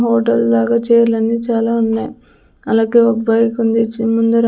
hotel లాగా చేర్లన్నీ అన్ని చాలా ఉన్నాయ్ అలగే ఒక బైకుంది చి ముందర--